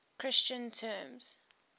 christian terms